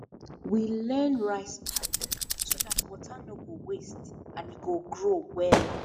we learn rice paddy so that water no go waste and e go grow wella